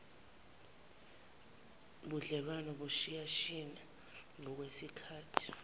budlelwano buyashiyashiyana ngokwesikhathi